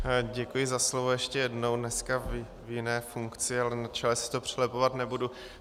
Děkuji za slovo ještě jednou, dneska v jiné funkci, ale na čele si to přelepovat nebudu.